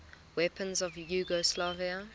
weapons of yugoslavia